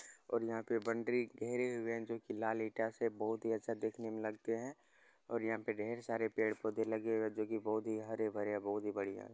और यहां पे बॉउन्ड्री घेरे हुए है जो कि लाल ईटा से बहुत ही अच्छा देखने मे लगते है और यहां पे ढेर सारे पेड़-पौधे लगे हुए है जो कि बहुत ही हरे-भरे बहुत ही बढ़िया है।